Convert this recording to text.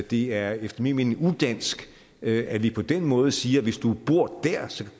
det er efter min mening udansk at vi på den måde siger hvis du bor dér